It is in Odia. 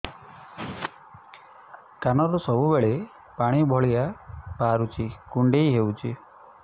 କାନରୁ ସବୁବେଳେ ପାଣି ଭଳିଆ ବାହାରୁଚି କୁଣ୍ଡେଇ ହଉଚି